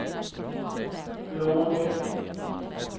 låg